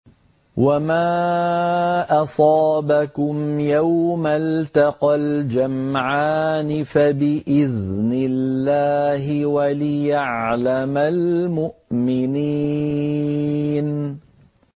وَمَا أَصَابَكُمْ يَوْمَ الْتَقَى الْجَمْعَانِ فَبِإِذْنِ اللَّهِ وَلِيَعْلَمَ الْمُؤْمِنِينَ